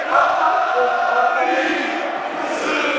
अब हम एक और error देख सकते हैं